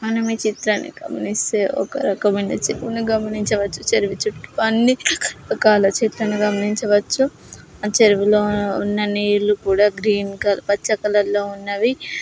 మనము ఈ చిత్రాన్ని గమనిస్తే ఒక రకమైన చెరువును గమనించవచ్చు. చెరువు చుట్టూ అన్ని రకాల చెట్లను గమనించవచ్చు. ఆ చెరువులో ఉన్న నీళ్లు కూడా గ్రీన్ --కల పచ్చ కలర్ లో ఉన్నవి.